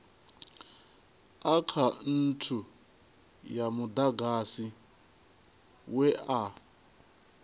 akhaunthu ya mudagasi we a